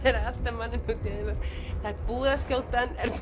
mann út í eyðimörk það er búið að skjóta hann er